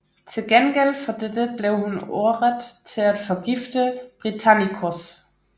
Til gengæld for dette blev hun ordret til at forgifte Britannicus